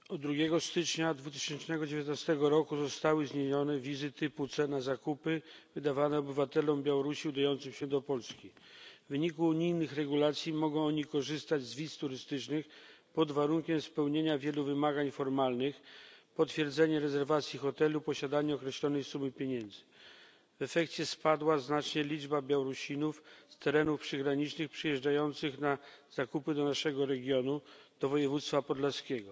Pani Przewodnicząca! Od 2 stycznia 2019 r. zostały zniesione wizy typu C na zakupy wydawane obywatelom Białorusi udającym się do Polski. W wyniku unijnych regulacji mogą oni korzystać z wiz turystycznych pod warunkiem spełnienia wielu wymagań formalnych potwierdzenie rezerwacji hotelu, posiadanie określonej sumy pieniędzy. W efekcie znacznie spadła liczba Białorusinów z terenów przygranicznych przyjeżdżających na zakupy do naszego regionu do województwa podlaskiego.